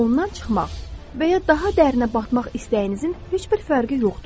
Ondan çıxmaq və ya daha dərinə batmaq istəyinizin heç bir fərqi yoxdur.